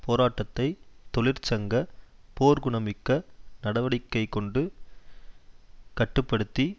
போராட்டத்தை தொழிற்சங்க போர்க்குணமிக்க நடவடிக்கைகொண்டு கட்டு படுத்தி